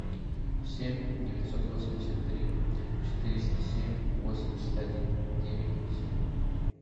семь девятьсот восемьдесят три четыреста семь восемьдесят один девять семь